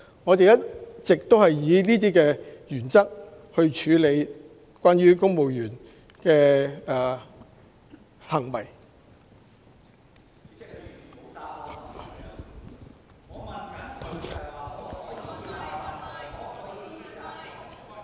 我們一直以此為準則，處理公務員行為。